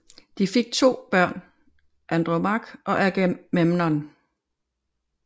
De fik to børn Andromache og Agamemnon